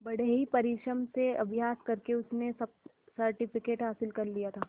बड़े ही परिश्रम से अभ्यास करके उसने सी सर्टिफिकेट हासिल कर लिया था